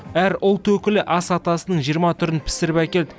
әр ұлт өкілі ас атасының жиырма түрін пісіріп әкелді